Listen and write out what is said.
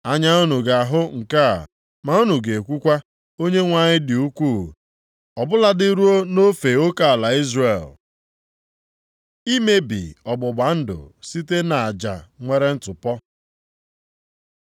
Anya unu ga-ahụ nke a ma unu ga-ekwukwa, ‘ Onyenwe anyị dị ukwuu, ọ bụladị ruo nʼofe oke ala Izrel!’ ” Imebi ọgbụgba ndụ site nʼaja nwere ntụpọ